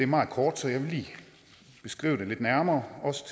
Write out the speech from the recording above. meget kort så jeg vil lige beskrive det lidt nærmere også